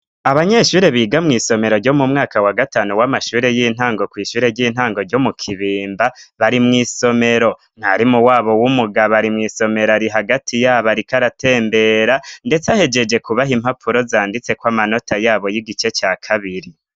Abanyeshure biga mw'isomero ryo mu mwaka wa gatanu w'amashure y'intango kw'ishure ry'intango ryo mu kibimba bari mw'isomero mwarimu wabo w'umugabo ari mw'isomero ari hagati yabo, ariko aratembera, ndetse ahejeje kubaha impapfuro zanditse ko amanota yabo y'igice ca kabiri.